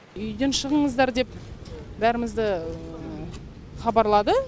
үйден шығыңыздар деп бәрімізді хабарлады